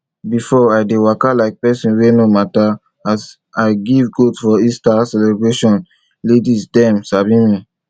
before i dey waka like person wey no matter as i give goat for easter celebration laidis dem sabi me